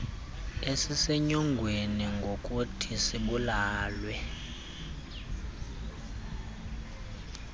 esisenyongweni ngokuthi sibulawe